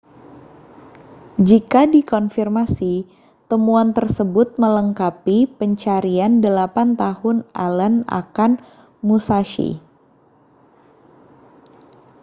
jika dikonfirmasi temuan tersebut melengkapi pencarian delapan tahun allen akan musashi